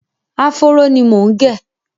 Áfóró ni mò ń gẹ̀.